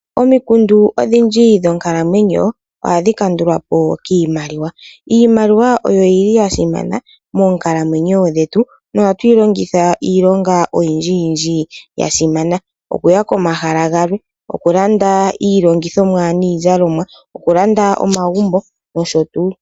Omikundu odhindji dhonkalamwenyo ohadhi kandulwa po kiimaliwa. Iimaliwa oyo yili ya simana moonkalamwenyo dhetu. Nohatu yi longitha iilonga oyindji yindji yasimana. Okuya komahala galwe, okulanda iilongithomwa niizalomwa, okulanda omagumbo nosho tuu.